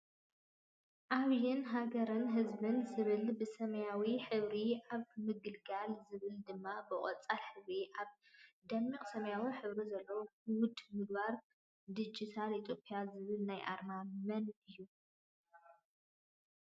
ዓብይን ሃገርን ህዝብን ዝብል ብሰማያዊ ሕብርን ኣብ ምግልጋል ዝብል ድማ ብቆፃል ሕብሪ ኣብ ደሚቅ ሰማያዊ ሕብሪ ዘለዎ ግሁድ ምግባር ድጅታል ኢትዮጵ ያ ዝብል ናይ ኣርማ መን እዩ?